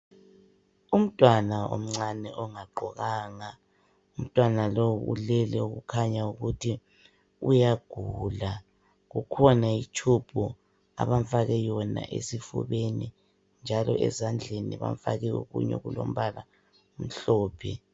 Umntwana omncane ongagqokanga. Umntwana lo, ulele, okukhanya ukuthi uyagula. Kukhona itshubhu, abamfake yona esifubeni, njalo ezandleni, bamfake okunye okulombala omhlophe.